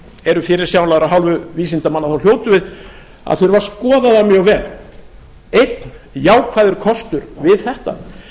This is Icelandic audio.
eru fyrirsjáanlegar af hálfu vísindamanna þá hljótum við að þurfa að skoða það mjög vel einn jákvæður kostur við þetta